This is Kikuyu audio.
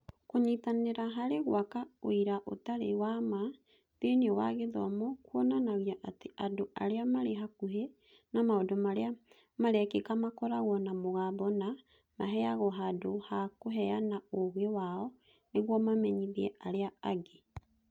Kũnyitanĩra harĩ gwaka ũira ũtarĩ wa ma thĩinĩ wa gĩthomo kuonanagia atĩ andũ arĩa marĩ hakuhĩ na maũndũ marĩa marekĩka makoragwo na mũgambo na nĩ maheagwo handũ ha kũheana ũũgĩ wao nĩguo mamenyithie arĩa angĩ.